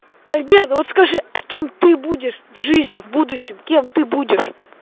альберт вот скажи а кем ты будешь в жизни в будущем кем ты будешь